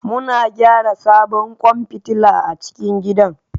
Muna gyara sabon kwan fitila a cikin gidan